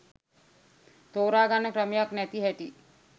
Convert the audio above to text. තෝරගන්න ක්‍රමයක් නැති හැටි.